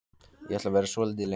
Ég ætla að vera svolítið lengur.